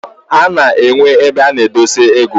Ana enwe ebe ana edosi ego.